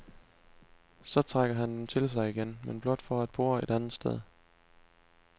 Så trækker han dem til sig igen, men blot for at bore et andet sted.